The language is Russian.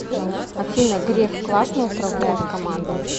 афина греф классно управляет командой